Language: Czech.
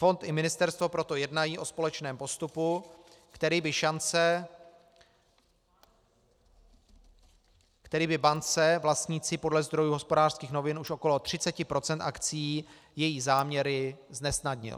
Fond i ministerstvo proto jednají o společném postupu, který by bance vlastnící podle zdrojů Hospodářských novin už okolo 30 % akcií její záměry znesnadnil."